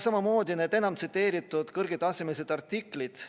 Samamoodi need kõige enam tsiteeritud kõrgetasemelised artiklid.